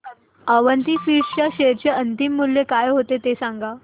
Avanti feeds च्या share चे अंतिम मूल्य काय होते ते सांगा